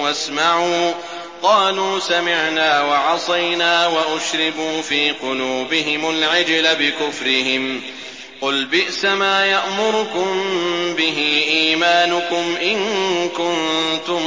وَاسْمَعُوا ۖ قَالُوا سَمِعْنَا وَعَصَيْنَا وَأُشْرِبُوا فِي قُلُوبِهِمُ الْعِجْلَ بِكُفْرِهِمْ ۚ قُلْ بِئْسَمَا يَأْمُرُكُم بِهِ إِيمَانُكُمْ إِن كُنتُم